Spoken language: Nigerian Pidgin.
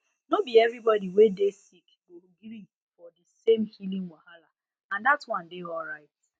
no be everybody wey dey sick go gree for di same healing wahala and dat one dey alright